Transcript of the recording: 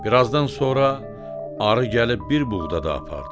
Bir azdan sonra arı gəlib bir buğda da apardı.